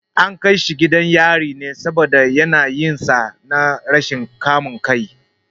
An kai shi gidan yari ne saboda yanayinsa na rashin kamun kai.